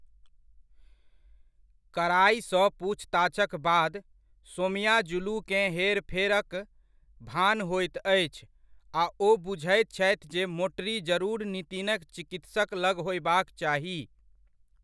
कड़ाइसँ पूछताछक बाद, सोमयाजुलूकेँ हेरफेरक भान होयत अछि आ ओ बुझैत छथि जे मोटरी जरुर नितिनक चिकित्सक लग होयबाक चाही।